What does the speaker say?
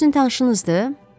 O sizin tanışınızdır?